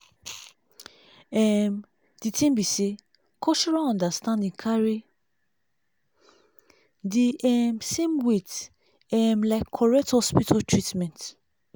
um di thing be saycultural understanding carry the um same weight um like correct hospital treatment